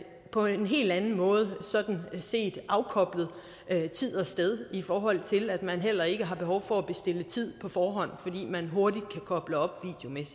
på en helt anden måde sådan set afkoblet tid og sted i forhold til at man heller ikke har behov for at bestille tid på forhånd fordi man hurtigt kan koble op